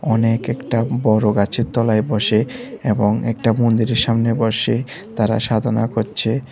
অনেক একটা বড় গাছের তলায় বসে এবং একটা মন্দিরের সামনে বসে তারা সাধনা করছে।